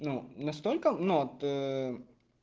ну настолько но ты